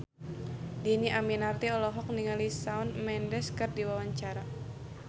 Dhini Aminarti olohok ningali Shawn Mendes keur diwawancara